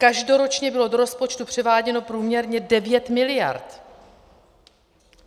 Každoročně bylo do rozpočtu převáděno průměrně 9 mld.